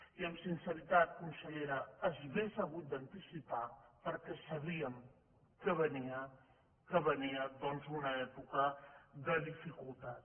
i amb sinceritat consellera s’hauria hagut d’anticipar perquè sabíem que venia que venia doncs una època de dificultat